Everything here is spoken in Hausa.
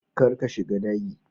Kar ka shiga dagi.